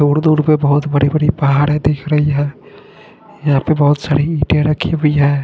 दूर दूर पर बहुत बड़ी बड़ी पहाड़े दिख रही है यहाँ पे बहुत सारी इटे रखी हुई है।